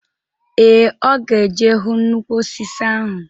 Ee, ọ ga eje hu nnukwu osisi ahụ.